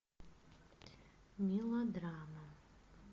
мелодрама